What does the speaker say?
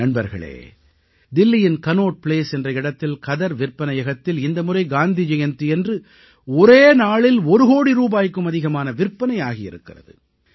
நண்பர்களே தில்லியின் Connaught Place என்ற இடத்தில் கதர் விற்பனையகத்தில் இந்த முறை காந்தி ஜெயந்தியன்று ஒரே நாளில் ஒரு கோடி ரூபாய்க்கும் அதிகமான விற்பனை ஆகியிருக்கிறது